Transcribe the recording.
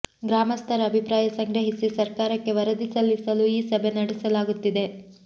ಗ್ರಾಮಸ್ಥರ ಅಭಿಪ್ರಾಯ ಸಂಗ್ರಹಿಸಿ ಸರ್ಕಾರಕ್ಕೆ ವರದಿ ಸಲ್ಲಿಸಲು ಈ ಸಭೆ ನಡೆಸಲಾಗುತ್ತಿದೆ